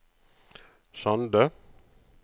Sande